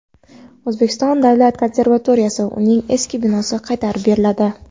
O‘zbekiston davlat konservatoriyasiga uning eski binosi qaytarib beriladi.